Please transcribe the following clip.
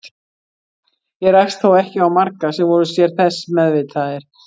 Ég rakst þó ekki á marga sem voru sér þess meðvitaðir.